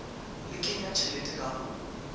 le kenya tjhelete ka ho